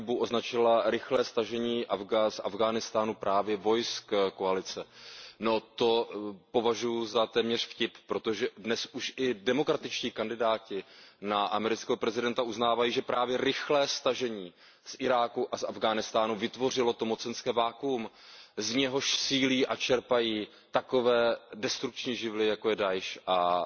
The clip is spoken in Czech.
Ta za chybu označila rychlé stažení z Afghánistánu právě vojsk koalice. No to považuju za téměř vtip, protože dnes už i demokratičtí kandidáti na amerického prezidenta uznávají, že právě rychlé stažení z Iráku a z Afghánistánu vytvořilo to mocenské vakuum, z něhož sílí a čerpají takové destrukční živly, jako je Dá'iš a